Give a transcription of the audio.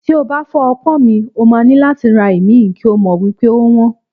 Tí o bá fọ́ ọpọ́n mi, o máa ní láti ra ìmí, kí o mọ̀ wípé ówọ́n.